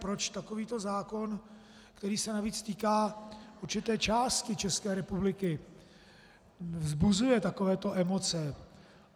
Proč takovýto zákon, který se navíc týká určité části České republiky, vzbuzuje takovéto emoce.